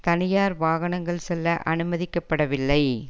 தனியார் வாகனங்கள் செல்ல அனுமதிக்க படவில்லை